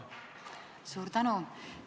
Suur tänu!